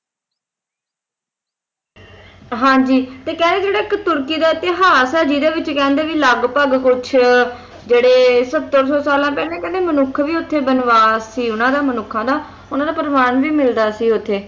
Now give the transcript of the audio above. ਹਾਂ ਜੀ ਤੇ ਕਹਿੰਦੇ ਜਿਹੜਾ ਇੱਕ ਤੁਰਕੀ ਇਤਿਹਾਸ ਹੈ ਜਿਹਦੇ ਵਿੱਚ ਲਗਭਗ ਕਹਿੰਦੇ ਕੁਝ ਸੱਤਰ ਸੌ ਸਾਲਾਂ ਪਹਿਲਾਂ ਮਨੁੱਖ ਵੀ ਉੱਥੇ ਬਨਵਾਸ ਸੀ ਉਨ੍ਹਾਂ ਦਾ ਮਨੁਖਾਂ ਦਾ ਉਨ੍ਹਾਂ ਦਾ ਪਰਿਵਾਰ ਵੀ ਮਿਲਦਾ ਸੀ ਉੱਥੇ